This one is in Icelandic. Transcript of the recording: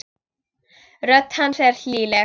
Rödd hans er hlýleg.